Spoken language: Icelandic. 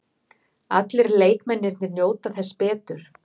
Allir leikmennirnir njóta þess betur.